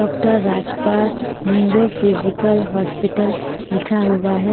Doctor Rajpal neurophysical hospital लिखा हुआ है.